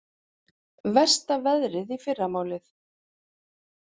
Versta veðrið í fyrramálið